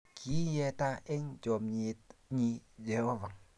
Kiiyeta eng chamnyet nyi Jehovah